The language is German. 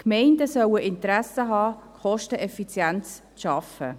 Die Gemeinden sollen Interesse daran haben, kosteneffizient zu arbeiten.